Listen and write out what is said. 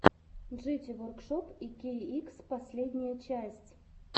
джити воркшоп икейикс последняя часть